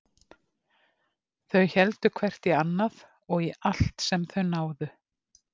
Þau héldu hvert í annað og í allt sem þau náðu.